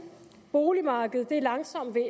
boligmarkedet er langsomt ved